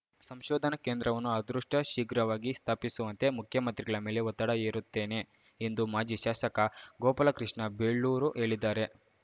ಸಂಶೋಧನಾ ಕೇಂದ್ರವನ್ನು ಅದ್ರುಷ್ಟಶೀಘ್ರವಾಗಿ ಸ್ಥಾಪಿಸುವಂತೆ ಮುಖ್ಯಮಂತ್ರಿಗಳ ಮೇಲೆ ಒತ್ತಡ ಹೇರುತ್ತೇನೆ ಎಂದು ಮಾಜಿ ಶಾಸಕ ಗೋಪಾಲಕೃಷ್ಣ ಬೇಳೂರು ಹೇಳಿದ್ದಾರೆ